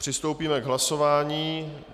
Přistoupíme k hlasování.